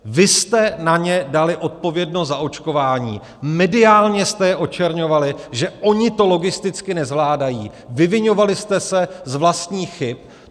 Vy jste na ně dali odpovědnost za očkování, mediálně jste je očerňovali, že oni to logisticky nezvládají, vyviňovali jste se z vlastních chyb.